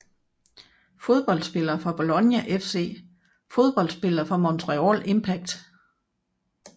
Fodboldspillere fra Bologna FC Fodboldspillere fra Montreal Impact